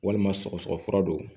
Walima sɔgɔsɔgɔ fura do